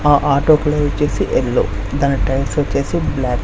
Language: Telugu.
ఆ ఆటో కలర్ వచ్చేసి ఎల్లో దాని టైర్స్ వచ్చేసి బ్ల్యాక్ .